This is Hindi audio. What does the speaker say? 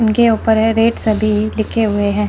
उनके ऊपर है रेट सभी लिखे हुए हैं।